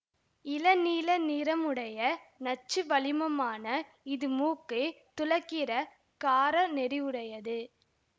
இள நீல நிறமுடைய நச்சு வளிமமான இது மூக்கை துளைக்கிற கார நெடியுடையது